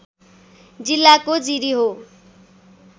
जिल्लाको जिरी हो